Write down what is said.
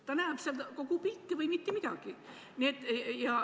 Ta näeb kogu pilti või mitte midagi.